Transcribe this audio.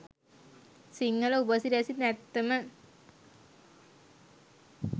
සිංහල උපසිරැසි නැත්තම